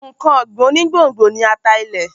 Nǹkan ọ̀gbìn onígbòǹgbò ni ata ilẹ̀.